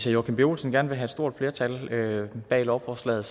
joachim b olsen gerne vil have et stort flertal bag lovforslaget